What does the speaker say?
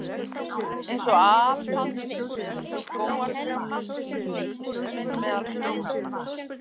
Eins og apaldur meðal skógartrjánna, svo er unnusti minn meðal sveinanna.